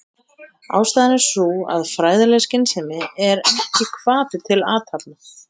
Ástæðan er sú að fræðileg skynsemi er ekki hvati til athafna.